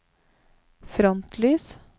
frontlys